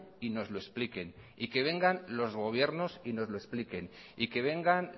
y nos lo expliquen y que vengan los gobiernos y nos los expliquen y que vengan